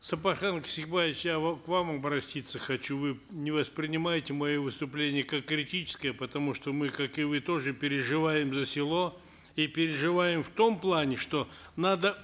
сапархан кесикбаевич я к вам обратиться хочу вы не воспринимайте мое выступление как критическое потому что мы как и вы тоже переживаем за село и переживаем в том плане что надо